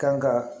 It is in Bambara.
Kan ka